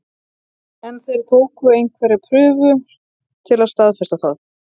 En þeir tóku einhverjar prufur til að staðfesta það.